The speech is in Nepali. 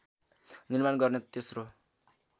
निर्माण गर्ने तेस्रो